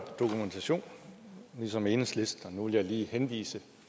ligesom enhedslisten dokumentation nu vil jeg lige henvise